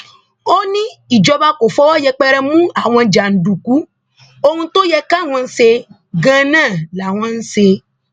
ó ní ìjọba kò fọwọ yẹpẹrẹ mú àwọn jàǹdùkú ohun tó yẹ káwọn ṣe gan náà làwọn ń ṣe